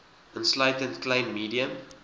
insluitende klein medium